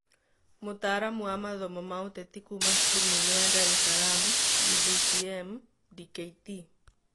Mutaaramu wa mathomo ma Uteti kuuma cukurû nene ya Dar es salaam(UDSM),Dkt.